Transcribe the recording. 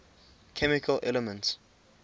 chemical elements